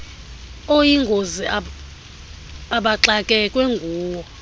oyingozi abaxakeke nguwo